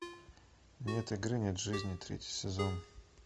нет игры нет жизни третий сезон